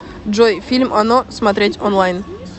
джой фильм оно смотреть онлайн